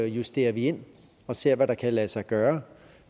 justerer vi ind og ser hvad der kan lade sig gøre